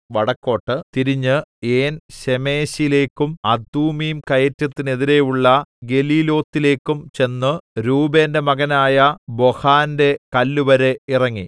വടക്കോട്ട് തിരിഞ്ഞ് ഏൻശേമെശിലേക്കും അദുമ്മീം കയറ്റത്തിനെതിരെയുള്ള ഗെലീലോത്തിലേക്കും ചെന്ന് രൂബേന്റെ മകനായ ബോഹാന്റെ കല്ലുവരെ ഇറങ്ങി